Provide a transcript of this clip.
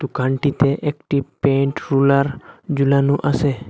দোকানটিতে একটি paint roller ঝুলোনো আসে।